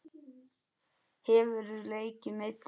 Hefurðu leikið meiddur?